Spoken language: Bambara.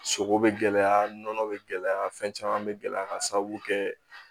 Sogo bɛ gɛlɛya nɔnɔ bɛ gɛlɛya fɛn caman bɛ gɛlɛya ka sababu kɛ